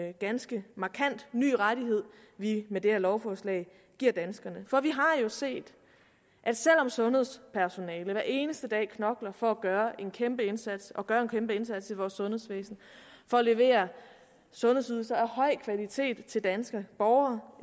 en ganske markant ny rettighed vi med det her lovforslag giver danskerne for vi har jo set at selv om sundhedspersonalet hver eneste dag knokler for at gøre en kæmpe indsats og gør en kæmpe indsats i vores sundhedsvæsen for at levere sundhedsydelser af høj kvalitet til danske borgere